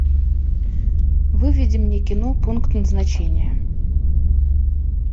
выведи мне кино пункт назначения